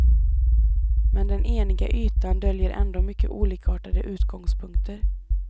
Men den eniga ytan döljer ändå mycket olikartade utgångspunkter.